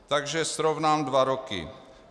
Takže srovnám dva roky.